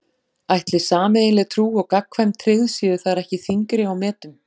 Ætli sameiginleg trú og gagnkvæm tryggð séu þar ekki þyngri á metum?